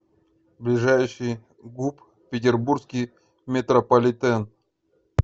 ближайший гуп петербургский метрополитен